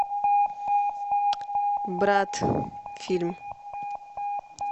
брат фильм